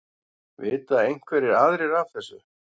Vita einhverjir aðrir af þessu?